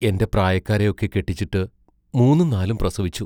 എന്റെ പ്രായക്കാരെയൊക്കെ കെട്ടിച്ചിട്ട് മൂന്നും നാലും പ്രസവിച്ചു.